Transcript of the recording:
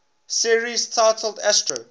series titled astro